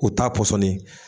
O t'a pɔsɔni ye.